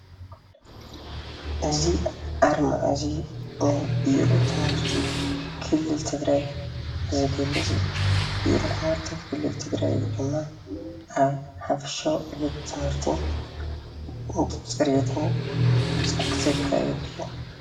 እዚ ኣርማ እዚ ናይ ቢሮ ትምህርቲ ክልል ትግራይ ዝገልፅ እዩ፡፡ ቢሮ ትምህርቲ ክልል ትግራይ ድማ ኣብ ሓፈሻዊ ዕቤት ትምህርቲ ፅሬትን ዘካይድ እዩ፡፡